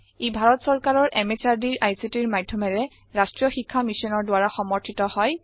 ই ভাৰত সৰকাৰৰ MHRDৰ ICTৰ মাধ্যমেৰে ৰাষ্ট্ৰীয় শীক্ষা মিছনৰ দ্ৱাৰা সমৰ্থিত হয়